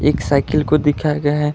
एक साइकिल को दिखाया गया है।